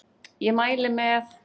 Ég mæli með